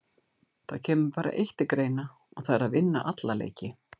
Það kemur bara eitt til greina og það er að vinna alla leiki.